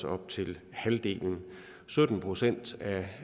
op til halvdelen sytten procent